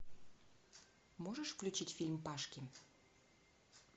можешь включить фильм пашки